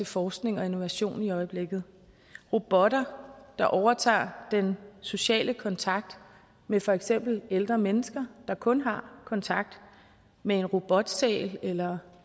forskning og innovation i øjeblikket robotter der overtager den sociale kontakt med for eksempel ældre mennesker der kun har kontakt med en robotsæl eller